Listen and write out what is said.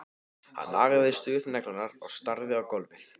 Hann nagaði stöðugt neglurnar og starði á gólfið.